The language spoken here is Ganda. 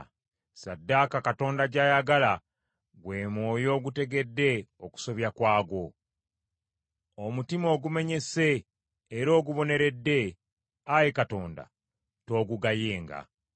Ssaddaaka Katonda gy’ayagala gwe mwoyo ogutegedde okusobya kwagwo. Omutima ogumenyese era oguboneredde, Ayi Katonda, toogugayenga.